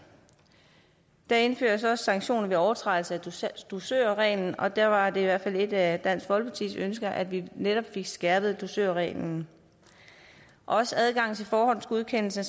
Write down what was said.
der indføres også sanktioner ved overtrædelse af dusørreglen og der var det i hvert fald et af dansk folkepartis ønsker at vi netop fik skærpet dusørreglen også adgangen til forhåndsgodkendelse